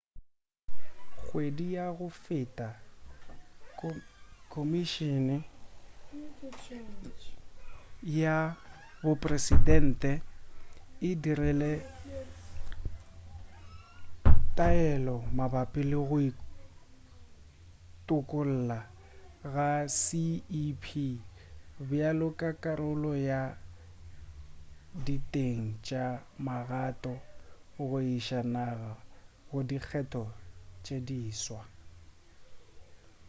kgwedi ya go feta komišene ya bopresidente e dirile taelelo mabapi le go itokolla ga cep bjalo ka karolo ya diteng tša magato go iša naga go dikgetho tše diswa